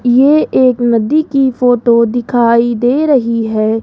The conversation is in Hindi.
ये एक नदी की फोटो दिखाई दे रही है।